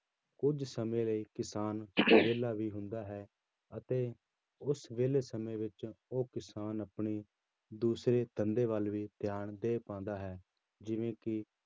ਕੁੱਝ ਸਮੇਂ ਲਈ ਕਿਸਾਨ ਵਿਹਲਾ ਵੀ ਹੁੰਦਾ ਹੈ ਅਤੇ ਉਸ ਵਿਹਲੇ ਸਮੇਂ ਵਿੱਚ ਕਿਸਾਨ ਆਪਣੀ ਦੂਸਰੇ ਧੰਦੇ ਵੱਲ ਵੀ ਧਿਆਨ ਦੇ ਪਾਉਂਦਾ ਹੈ ਜਿਵੇਂ ਕਿ